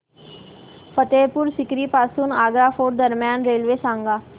फतेहपुर सीकरी पासून आग्रा फोर्ट दरम्यान रेल्वे सांगा